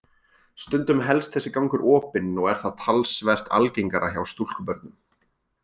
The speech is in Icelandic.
Stundum helst þessi gangur opinn og er það talsvert algengara hjá stúlkubörnum.